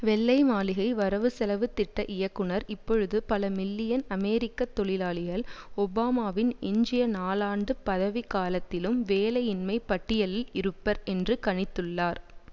வெள்ளை மாளிகை வரவுசெலவு திட்ட இயக்குனர் இப்பொழுது பல மில்லியன் அமெரிக்க தொழிலாளிகள் ஒபாமாவின் எஞ்சிய நாலாண்டு பதவிக் காலத்திலும் வேலையின்மை பட்டியலில் இருப்பர் என்று கணித்துள்ளார்